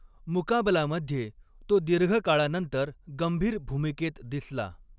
मुकाबला'मध्ये तो दीर्घकाळानंतर गंभीर भूमिकेत दिसला.